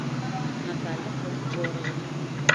наталья колмогорова